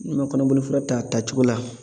N'i ma kɔnɔboli fura ta a tacogo la